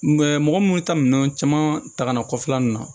mɔgɔ munnu ta minɛn caman ta ka na kɔfɛla nunnu na